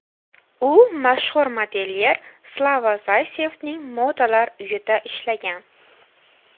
U mashhur modelyer Slava Zaysevning modalar uyida ishlagan.